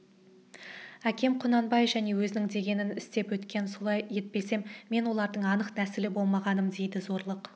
әкем құнанбай және өзінің дегенін істеп өткен солай етпесем мен олардың анық нәсілі болмағаным дейді зорлық